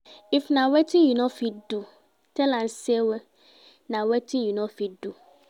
If na wetin you no fit do tell am say na wetin you no fit do